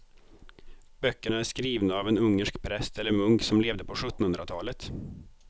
Böckerna är skrivna av en ungersk präst eller munk som levde på sjuttonhundratalet.